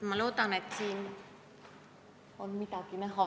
Ma loodan, et siit on midagi näha.